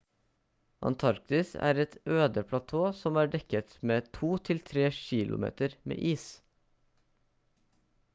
antarktis er et øde platå som er dekket med to til tre kilometer med is